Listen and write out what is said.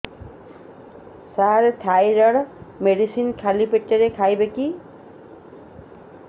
ସାର thyroid medicine ଖାଲି ପେଟରେ ଖାଇବି କି